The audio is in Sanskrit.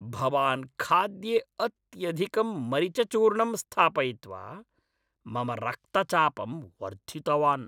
भवान् खाद्ये अत्यधिकं मरिचचूर्णं स्थापयित्वा मम रक्तचापं वर्धितवान्।